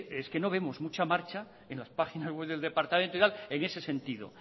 es que no vemos mucha marcha en las páginas web del departamento en ese sentido